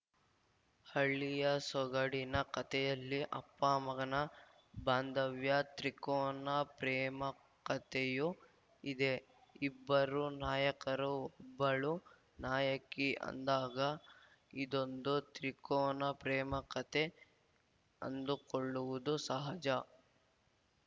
ಹಳ್ಳಿಯ ಸೊಗಡಿನ ಕತೆಯಲ್ಲಿ ಅಪ್ಪಮಗನ ಬಾಂಧವ್ಯ ತ್ರಿಕೋನ ಪ್ರೇಮಕತೆಯೂ ಇದೆ ಇಬ್ಬರು ನಾಯಕರು ಒಬ್ಬಳು ನಾಯಕಿ ಅಂದಾಗ ಇದೊಂದು ತ್ರಿಕೋನ ಪ್ರೇಮಕತೆ ಅಂದುಕೊಳ್ಳುವುದು ಸಹಜ